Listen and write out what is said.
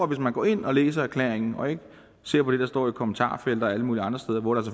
hvis man går ind og læser erklæringen og ikke ser på det der står i kommentarfelter og alle mulige andre steder hvor der